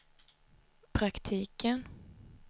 praktiken